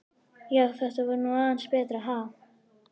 Já, þetta var nú aðeins betra, ha!